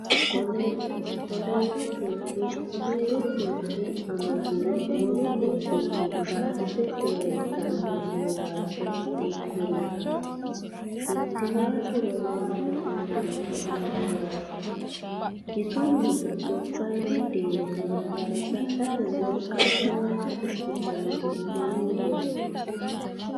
Koleeru dhibbi amadiro wolu dhibbinni baxxite leellitanno malaatta hiikkuriiti? Kittiwaatu roorinni hasiisannohu ayeooraati? Bisunniti gobbaydi diinna gargadhate wolqa jawaata ikkitannohu mamooteeti?